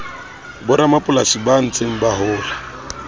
boramapolasi ba ntseng ba hola